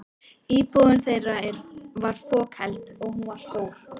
Íbúðin þeirra var fokheld, og hún var stór.